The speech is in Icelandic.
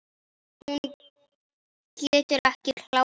Hún getur ekki klárað.